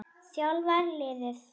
þjálfar liðið.